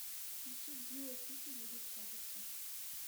включи гио пика едет катится